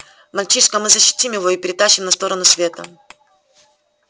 мальчишка мы защитим его и перетащим на сторону света